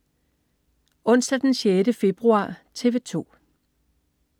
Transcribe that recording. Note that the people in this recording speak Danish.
Onsdag den 6. februar - TV 2: